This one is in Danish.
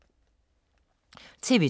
TV 2